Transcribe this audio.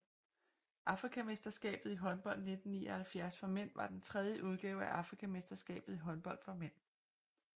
Afrikamesterskabet i håndbold 1979 for mænd var den tredje udgave af Afrikamesterskabet i håndbold for mænd